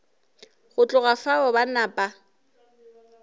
go tloga fao ba napa